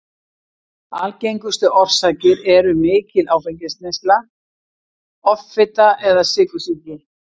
Algengustu orsakir eru mikil áfengisneysla, offita eða sykursýki.